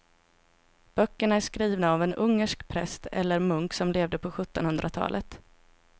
Böckerna är skrivna av en ungersk präst eller munk som levde på sjuttonhundratalet.